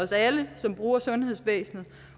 alle som bruger sundhedsvæsenet